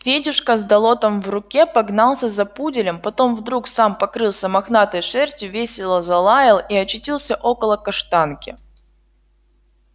федюшка с долотом в руке погнался за пуделем потом вдруг сам покрылся мохнатой шерстью весело залаял и очутился около каштанки